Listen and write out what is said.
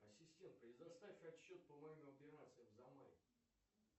ассистент предоставь отчет по моим операциям за май